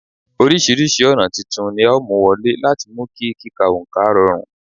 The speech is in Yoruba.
Oríṣiríṣi ọ̀nà titun ni a ó mú wọlé láti mú kí kíka oǹkà rọrùn